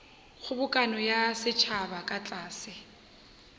kgobokano ya setšhaba ka tlase